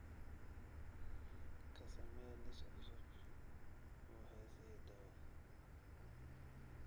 Ka samee liis cusub oo heesihii dhawaa